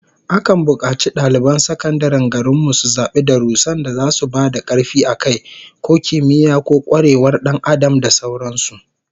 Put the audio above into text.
Akan bukaci daliban sakandaren garin mu su zabi darussan da zasu ba da karfi a kai, ko kimiyya, ko kwarewar Dan Adam da sauran su